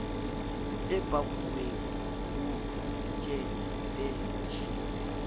e pakuweng ho otsjet ejiwe